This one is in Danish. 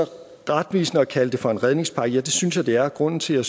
retvisende at kalde det for en redningspakke ja det synes jeg det er og grunden til at